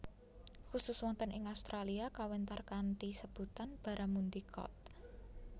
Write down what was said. Khusus wonten ing Australia kawéntar kanthi sebutan Barramundi Cod